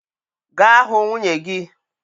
Gaa hụ nwunye gị